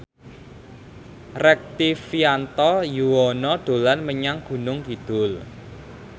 Rektivianto Yoewono dolan menyang Gunung Kidul